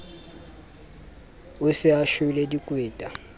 o se a shwele dikweta